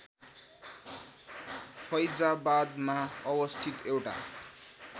फैजाबादमा अवस्थित एउटा